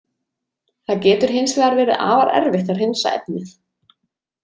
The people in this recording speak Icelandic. Það getur hins vegar verið afar erfitt að hreinsa efnið.